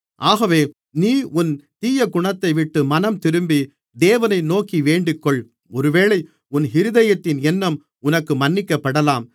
ஆகவே நீ உன் தீயகுணத்தைவிட்டு மனம்திரும்பி தேவனை நோக்கி வேண்டிக்கொள் ஒருவேளை உன் இருதயத்தின் எண்ணம் உனக்கு மன்னிக்கப்படலாம்